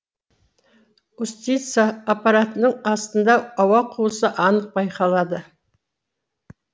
устьица аппаратының астында ауа қуысы анық байқалады